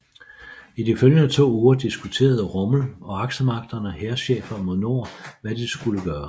I de følgende to uger diskuterede Rommel og aksemagternes hærchefer mod nord hvad de så skulle gøre